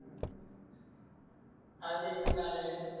അതെന്തേ ഇപ്പോ നാലായത്?